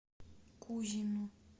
кузину